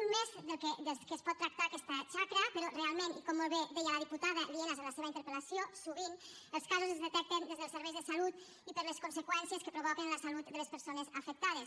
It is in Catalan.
un més des dels que es pot tractar aquesta xacra però realment i com molt bé deia la diputada lienas en la seva interpel·lació sovint els casos es detecten des dels serveis de salut i per les conseqüències que provoca en la salut de les persones afectades